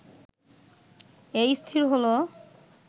এই স্থির হল